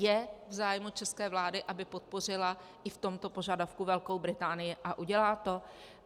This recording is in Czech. Je v zájmu české vlády, aby podpořila i v tomto požadavku Velkou Británii, a udělá to?